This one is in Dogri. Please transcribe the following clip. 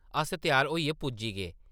अस त्यार होइयै पुज्जी गे ।